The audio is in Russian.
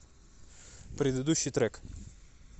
предыдущий трек